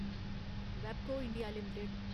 वैबको India limited